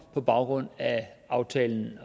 på baggrund af aftalen